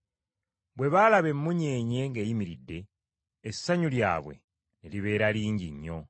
Bwe baalaba emmunyeenye ng’eyimiridde, essanyu lyabwe ne libeera lingi nnyo!